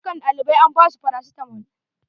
Dukka ɗaliban an ba su farasitamol.